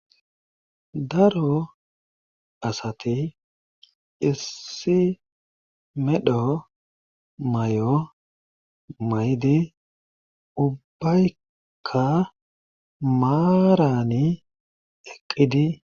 Daro asati issi medho mayo mayidi ubbaykka maarani eqqidi.